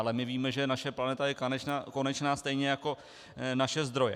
Ale my víme, že naše planeta je konečná stejně jako naše zdroje.